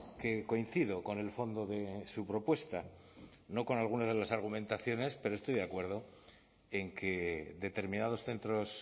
que coincido con el fondo de su propuesta no con algunas de las argumentaciones pero estoy de acuerdo en que determinados centros